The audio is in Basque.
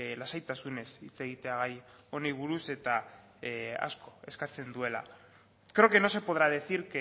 lasaitasunez hitz egitea gai honi buruz eta asko eskatzen duela creo que no se podrá decir